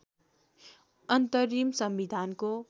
अन्तरिम संविधानको